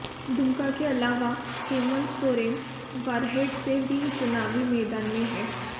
दुमका के अलावा हेमंत सोरेन बरहेट से भी चुनावी मैदान में हैं